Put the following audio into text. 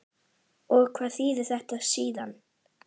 Og hvað þýðir þetta síðan?